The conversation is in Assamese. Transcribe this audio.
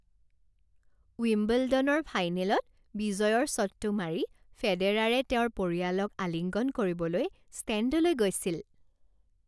উইম্বলডনৰ ফাইনেলত বিজয়ৰ শ্বটটো মাৰি ফেডেৰাৰে তেওঁৰ পৰিয়ালক আলিঙ্গন কৰিবলৈ ষ্টেণ্ডলৈ গৈছিল।